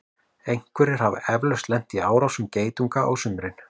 einhverjir hafa eflaust lent í árásum geitunga á sumrin